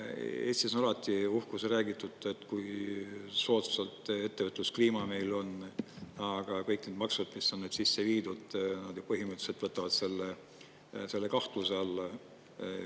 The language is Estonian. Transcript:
Eestis on alati uhkusega räägitud, et kui soodsalt ettevõtluskliima meil on, aga kõik need maksud, mis on sisse viidud, põhimõtteliselt võtavad selle kahtluse alla.